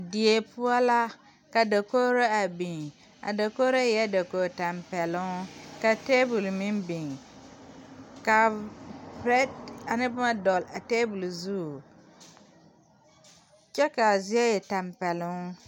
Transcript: Die poɔ la ka dakogro a biŋ a dakoo eɛ dakoo tampeloŋ ka taabol meŋ biŋ ka bite ane boma dɔgele a taabol zu kyɛ kaa zie e tɛmpeloŋ